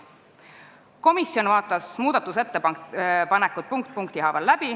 Komisjon vaatas muudatusettepanekud punkt punkti haaval läbi.